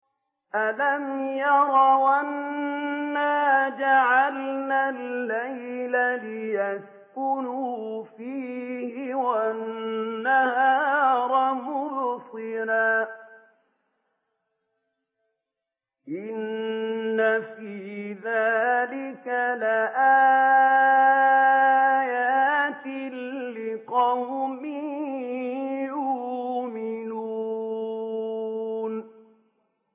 أَلَمْ يَرَوْا أَنَّا جَعَلْنَا اللَّيْلَ لِيَسْكُنُوا فِيهِ وَالنَّهَارَ مُبْصِرًا ۚ إِنَّ فِي ذَٰلِكَ لَآيَاتٍ لِّقَوْمٍ يُؤْمِنُونَ